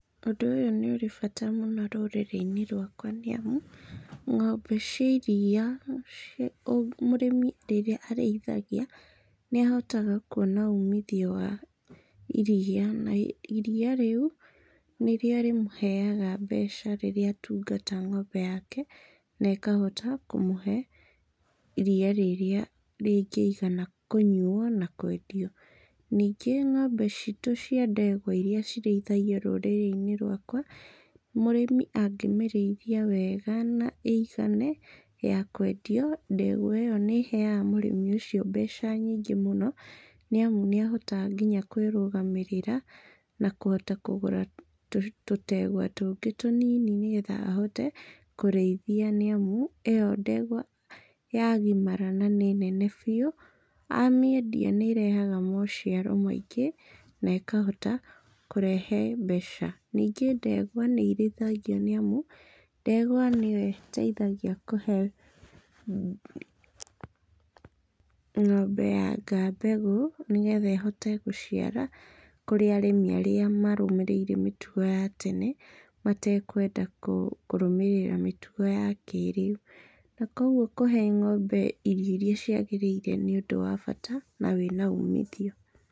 Ũndũ ũyũ nĩ ũrĩ bata mũno rũrĩrĩ-inĩ rwakwa nĩ amu, ng'ombe cia iria, mũrĩmi rĩrĩa arĩithagia nĩ ahotaga kũona uumithio wa iria, na iria rĩu nĩ rĩo rĩmũheaga mbeca rĩrĩa atungata ng'ombe yake na ĩkahota kũmũhe iria rĩrĩa rĩngĩigana kũnyuo na kwendio. Ningĩ ng'ombe citũ cia ndegwa iria cirĩithagio rũrĩrĩ-inĩ rwakwa, mũrĩmi angĩmĩrĩithia wega na ĩigane ya kwendio, ndegwa ĩyo nĩ ĩheaga mũrĩmi ũcio mbeca nyingĩ mũno nĩ amu, nĩ ahotaga nginya kwĩrũgamĩrĩra na kũhota kũgũra tũtegwa tũngĩ tũnini nĩgetha ahote kũrĩithia nĩ amu, ĩyo ndegwa ya gimara na nĩ nene biũ, amĩendia, nĩ ĩrehaga maũciaro maingĩ na ĩkahota kũrehe mbeca. Ningĩ ndegwa nĩ irĩithagio nĩ amu, ndegwa nĩ yo ĩteithagia kũhe ng'ombe ya aka mbegũ nĩgetha ĩhote gũciara, kũrĩ arĩmi arĩa marũmĩrĩire mĩtugo ya tene matekwenda kũrũmĩrĩra mĩtugo ya kĩĩrĩu. Na kwoguo kũhe ng'ombe irio iria ciagĩrĩire nĩ ũndũ wa bata na wĩna uumithio.